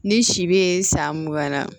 Ni si be san mugan na